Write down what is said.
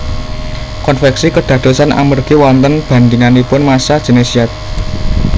Konveksi kédadosan amergi wonten bandinganipun massa jènis zat